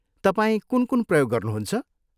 तपाईँ कुन कुन प्रयोग गर्नुहुन्छ?